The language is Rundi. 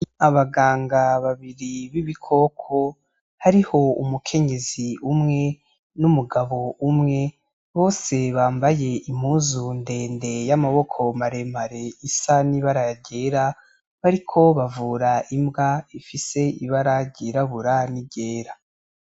Abaganga babiri b'ibikoko, hariho umukenyezi umwe n'umugabo umwe bose bambaye impuzu ndende y'amaboko maremare isa n'ibara ryera bariko bavura imbwa ifise ibara ryirabura n'iryera.